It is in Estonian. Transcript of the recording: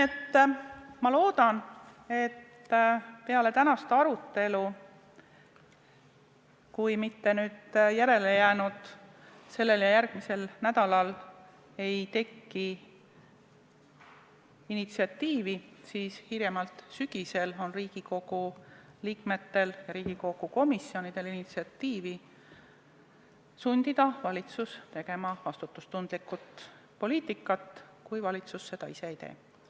Ma loodan, et kui peale tänast arutelu sellel ja järgmisel nädalal ei teki initsiatiivi, siis hiljemalt sügisel avaldavad Riigikogu liikmed ja Riigikogu komisjonid initsiatiivi, et sundida valitsust tegema vastutustundlikku poliitikat, kui valitsus seda ise ei tee.